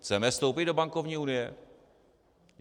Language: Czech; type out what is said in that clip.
Chceme vstoupit do bankovní unie?